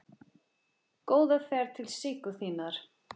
Góða ferð til Siggu þinnar.